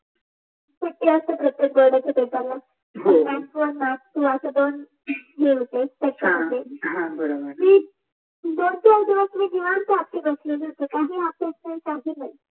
कस असत बोर्डाच्या पेपरला मी निवांत बसली होती